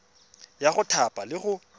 ya go thapa le go